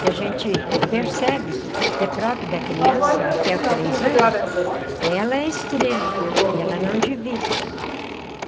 Que a gente percebe que é próprio da criança até os três anos, ela é estrela e ela não divide.